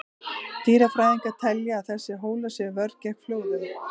Dýrafræðingar telja að þessir hólar sé vörn gegn flóðum.